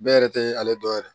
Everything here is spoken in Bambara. Bɛɛ yɛrɛ tɛ ale dɔn yɛrɛ